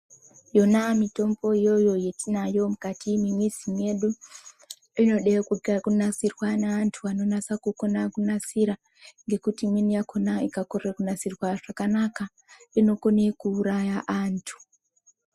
Yona mitombo iyoyo yetinayo mukati memizi medu inode kunasirwa neantu anonasa kukona kunasira, ngekuti imweni yakona ikakorere kunasirwa zvakanaka, inokone kuuraya antu.